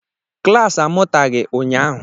Klas amụtaghị ụnyahụ.